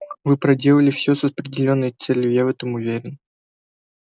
вы проделали все с определённой целью я в этом уверен